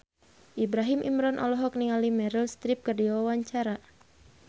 Ibrahim Imran olohok ningali Meryl Streep keur diwawancara